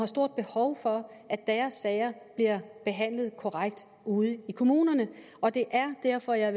stort behov for at deres sager bliver behandlet korrekt ude i kommunerne og det er derfor jeg